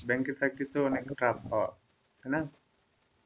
ব্যাংকের চাকরি তো অনেক tough হয় তাই না?